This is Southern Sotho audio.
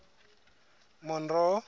monroe